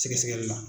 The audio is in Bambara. Sɛgɛsɛgɛli la